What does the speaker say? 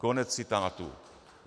Konec citátu.